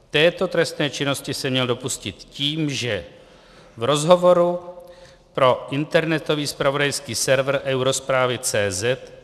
Této trestné činnosti se měl dopustit tím, že v rozhovoru pro internetový zpravodajský server EuroZpravy.cz